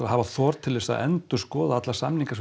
hafa þor til að endurskoða alla samninga sem